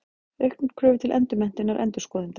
Auknar kröfur til endurmenntunar endurskoðenda.